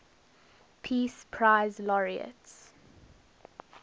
peace prize laureates